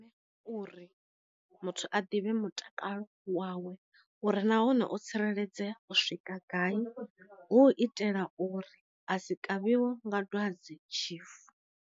Uri muthu a ḓivhe mutakalo wawe uri nahone o tsireledzea u swika gai, hu u itela uri a si kavhiwa nga dwadze tshifu.